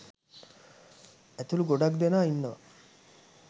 ඇතුළු ගොඩාක් දෙනා ඉන්නවා.